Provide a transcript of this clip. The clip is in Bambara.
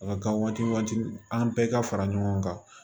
A ka kan waati an bɛɛ ka fara ɲɔgɔn kan